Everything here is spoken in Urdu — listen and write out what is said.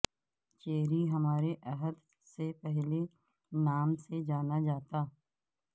چیری ہمارے عہد سے پہلے نام سے جانا جاتا